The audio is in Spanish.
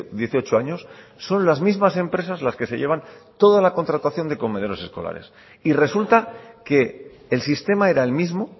dieciocho años son las mismas empresas las que se llevan toda la contratación de comedores escolares y resulta que el sistema era el mismo